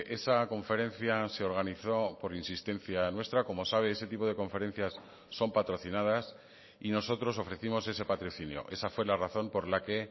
esa conferencia se organizó por insistencia nuestra como sabe ese tipo de conferencias son patrocinadas y nosotros ofrecimos ese patrocinio esa fue la razón por la que